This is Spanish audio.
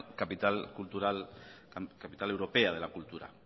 capital europea de la cultura